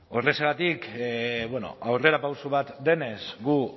horrexegatik bueno aurrerapauso bat denez gu